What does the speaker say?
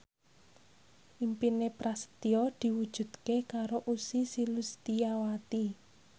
impine Prasetyo diwujudke karo Ussy Sulistyawati